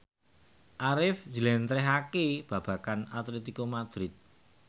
Arif njlentrehake babagan Atletico Madrid